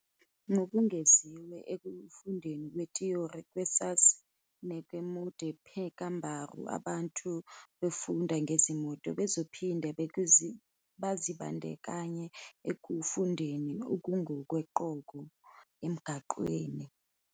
Ngokungeziwe ekufundeni kwethiyori, kursus mengemudi pekanbaru abantu abafunda ngezimoto bazophinde bazibandakanye ekufundeni okungokoqobo emgwaqeni.